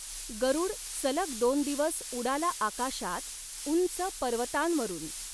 गरुड सलग दॊन दिवस उडाला आकाशात, उंच पर्वतां वरुन.